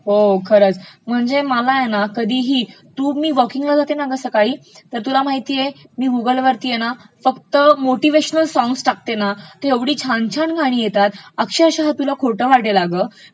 हो खरचं, म्हणजे मला आहे ना कधीही, मा वॉकिंगला जाते ना सकाळी मी गुगलवर फक्त मोटीव्हेशनल सॉंग्स टाकते ना तेव्हा ऐवढी छान छान गाणी येतात अक्षरशः तुला खोटं वाटेल अगं,